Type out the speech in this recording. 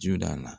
Ju da la